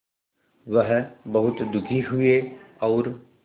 वह बहुत दुखी हुए और